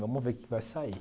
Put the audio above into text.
Vamos ver o que vai sair.